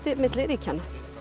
milli ríkjanna